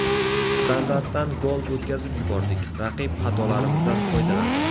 Standartdan gol o‘tkazib yubordik, raqib xatolarimizdan foydalandi.